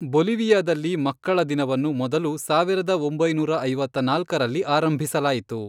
ಬೊಲಿವಿಯಾದಲ್ಲಿ ಮಕ್ಕಳ ದಿನವನ್ನು ಮೊದಲು ಸಾವಿರದ ಒಂಬೈನೂರ ಐವತ್ತ್ನಾಲ್ಕರಲ್ಲಿ ಆರಂಭಿಸಲಾಯಿತು.